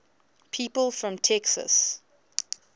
people from texas